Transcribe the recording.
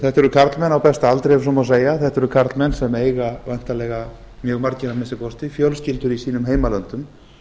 þetta eru karlmenn á besta aldri ef svo má segja þetta eru karlmenn sem eiga væntanlega mjög margir að minnsta kosti fjölskyldur í sínum heimalöndum